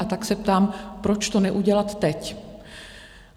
A tak se ptám, proč to neudělat teď?